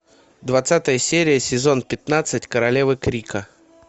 двадцатая серия сезон пятнадцать королевы крика